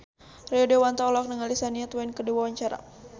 Rio Dewanto olohok ningali Shania Twain keur diwawancara